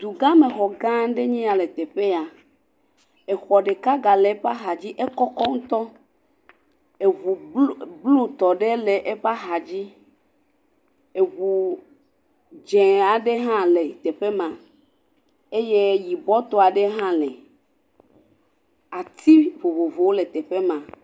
Dugãme xɔ gã aɖea ya le teƒe ya. Xɔ ɖeka ga le eƒe axadzi le afia, ekɔkɔ ŋutɔ. Ŋu blutɔ ɖe le eƒe axadzi. Ŋu dzɛ̃ aɖe hã le teƒe ma eye yibɔtɔ aɖe hã li. Ati vovovowo le teƒe ma.